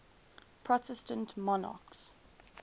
protestant monarchs